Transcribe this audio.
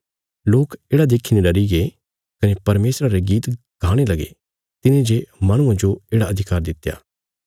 लोक येढ़ा देखीने डरीगे कने परमेशरा रे गीत गाणे लगे तिने जे माहणुआं जो येढ़ा अधिकार दित्या